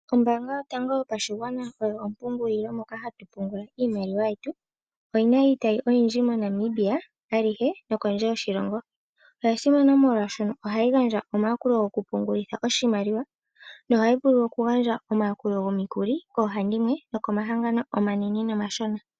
Ombaanga yotango yopashigwana oyo ompungulilo moka hatu pungula iimaliwa yetu. Oyina iitayi oyindji moNamibia nokondje yoshilongo. Oyasimana molwaashoka ohayi gandja omayakulo gokupungulitha oshimaliwa nohayi vulu okugandja omikuli koohandimwe nokomahangano omanene nomashona.